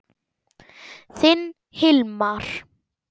Þinn Hilmar.